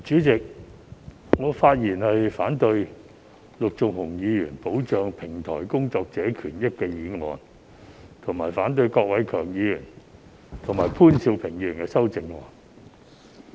主席，我發言反對陸頌雄議員提出"保障平台工作者的權益"的議案，以及反對郭偉强議員和潘兆平議員的修正案。